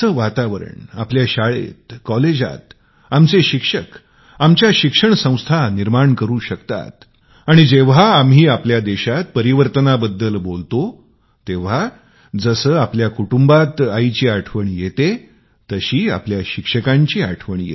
असा आनंद आपल्या शाळेत कॉलेजात आमचे शिक्षक आमच्या शिक्षण संस्था करू शकतात आणि जेंव्हा आम्ही आपल्या देशात परिवर्तनाबद्दल बोलू तेंव्हा जसे आपल्या कुटुंबात आईची आठवण येते तशी आपल्या शिक्षकाची आठवण यावी